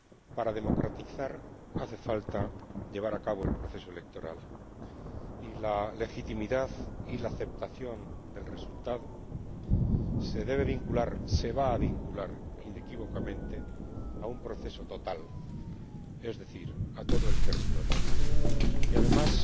Para democratizar hace falta llevar a cabo el proceso electoral, y la legitimidad y la aceptación del resultado se deben vincular, se van a vincular, inequívocamente a un proceso total, es decir, a todo el territorio y, además,